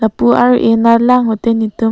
pu ar eh nat lang pute ne tum--